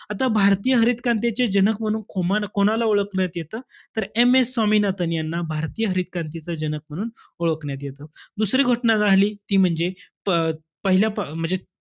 आता भारतीय हरित क्रांतीचे जनक म्हणून खोमाला~ कोणाला ओळखण्यात येतं? तर, M. S स्वामिनाथन यांना भारतीय हरित क्रांतीचं जनक म्हणून ओळखण्यात येतं. दुसरी घटना राहली ती म्हणजे अं पहिल्या प~ म्हणजे,